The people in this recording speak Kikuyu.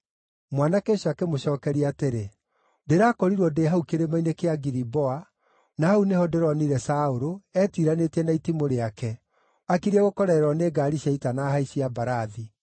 Mwanake ũcio akĩmũcookeria atĩrĩ, “Ndĩrakorirwo ndĩ hau kĩrĩma-inĩ kĩa Giliboa, na hau nĩho ndĩronire Saũlũ, etiranĩtie na itimũ rĩake, akiriĩ gũkorererwo nĩ ngaari cia ita na ahaici a mbarathi.